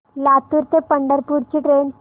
लातूर ते पंढरपूर ची ट्रेन